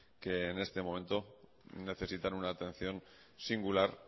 que en este momento necesitan una atención singular